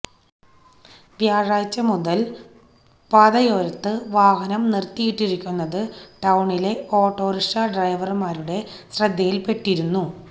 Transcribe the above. വ്യാഴാഴ്ച മുതല് പാതയോരത്ത് വാഹനം നിര്ത്തിയിട്ടിരിക്കുന്നത് ടൌണിലെ ഓട്ടോറിക്ഷ ഡ്രൈവര്മാരുടെ ശ്രദ്ധയില്പ്പെട്ടിരുന്നു